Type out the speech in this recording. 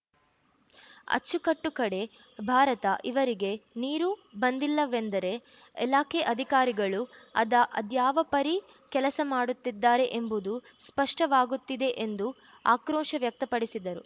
ಅಚ್ಚುಕಟ್ಟು ಕಡೇ ಭಾರತ ಇವರಿಗೆ ನೀರು ಬಂದಿಲ್ಲವೆಂದರೆ ಇಲಾಖೆ ಅಧಿಕಾರಿಗಳು ಅದ ಅದ್ಯಾವ ಪರಿ ಕೆಲಸ ಮಾಡುತ್ತಿದ್ದಾರೆ ಎಂಬುದು ಸ್ಪಷ್ಟವಾಗುತ್ತಿದೆ ಎಂದು ಆಕ್ರೋಶ ವ್ಯಕ್ತಪಡಿಸಿದರು